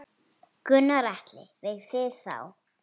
Gunnar Atli: Við þig þá?